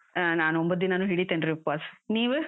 ಹಾ, ನಾನು ಒಂಬತ್ತ್ ದಿನಾನೂ ಹಿಡಿತೀನ್ರಿ ಉಪಾಸ್, ನೀವು?